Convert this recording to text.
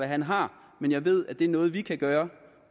han har men jeg ved at det er noget vi kan gøre